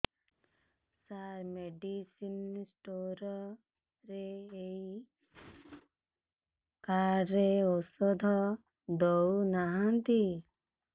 ସାର medicine store ରେ ଏଇ card ରେ ଔଷଧ ଦଉନାହାନ୍ତି